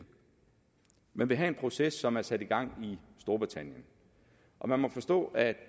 man vil have en proces som er sat i gang i storbritannien og man må forstå at